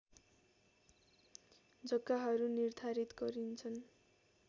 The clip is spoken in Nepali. जग्गाहरू निर्धारित गरिन्छन्